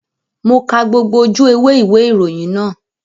Mo ka gbogbo ojú ewé ìwé ìròyìn náà